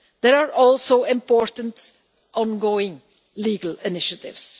There are also important ongoing legal initiatives.